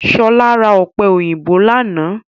Ṣọlá ra ọ̀pẹ̀ òyìnbó lánàá